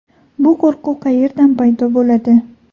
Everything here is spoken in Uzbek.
Bu qo‘rquv qayerdan paydo bo‘ladi?